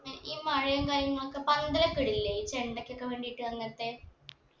ഈ മഴയും കാര്യങ്ങളൊക്കെ പന്തലൊക്കെ ഇടൂല്ലേ ഈ ചെണ്ടക്കൊക്കെ വേണ്ടീട്ട് അങ്ങത്തെ